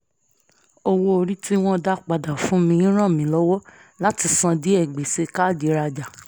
owó orí tí wọ́n dá padà fún mi ràn mi lọ́wọ́ láti san díẹ̀ gbèsè káàdì rajà